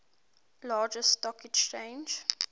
largest stock exchange